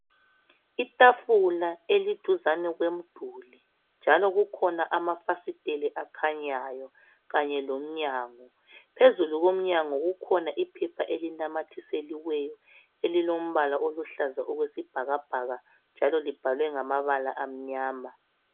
Itafula eliduzane komduli njalo kukhona amafasiteli akakhanyayo kanye lomnyango phezulu komnyanga kukhona iphepha elinamathiseliweyo elilompala oluhlaza okwesibhakabhaka njalo libhalwe ngamabala amnyama.